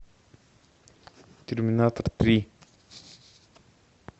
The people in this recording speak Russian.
терминатор три